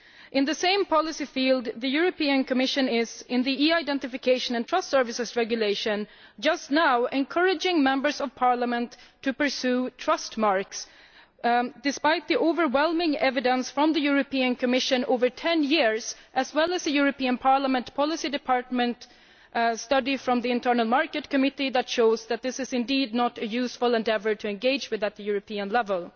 In the same policy field, the European Commission is, in the e Identification and Trust Services Regulation, just now encouraging Members of Parliament to pursue trustmarks, despite the overwhelming evidence from the European Commission over ten years, as well as from the European Parliament policy department study by the Committee on the Internal Market and Consumer Protection, that shows that this is not a useful endeavour to engage with at European level.